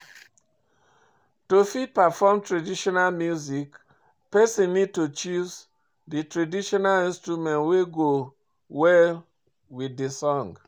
To fit perform traditional music person need to choose di traditional instrument wey go well with di song